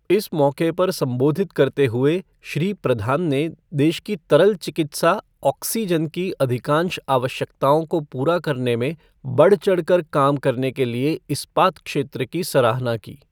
इस मौक़े पर संबोधित करते हुए श्री प्रधान ने देश की तरल चिकित्सा ऑक्सीजन की अधिकांश आवश्यकताओं को पूरा करने में बढ़चढ़कर काम करने के लिए इस्पात क्षेत्र की सराहना की।